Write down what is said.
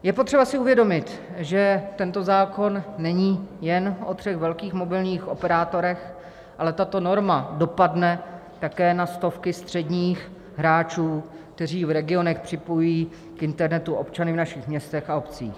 Je potřeba si uvědomit, že tento zákon není jen o třech velkých mobilních operátorech, ale tato norma dopadne také na stovky středních hráčů, kteří v regionech připojují k internetu občany v našich městech a obcích.